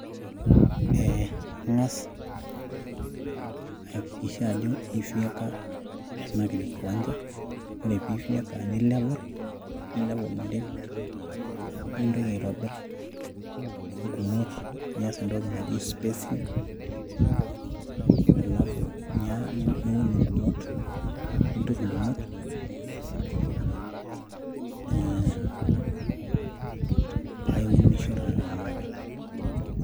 ee kangas ayakikisha ajo aifieka ena kiwancha, ore pee ifieka ni leve l ,ni level tenterit. nintoki aitobir ing'umot nias entoki naji spacing, alafu niun ing'umot paa iturisho taa tena kata.